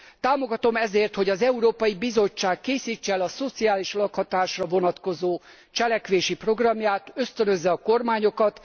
Támogatom ezért, hogy az Európai Bizottság készítse el a szociális lakhatásra vonatkozó cselekvési programját, ösztönözze a kormányokat.